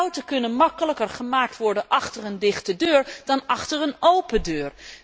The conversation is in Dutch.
Fouten kunnen gemakkelijker gemaakt worden achter een dichte deur dan achter een open deur.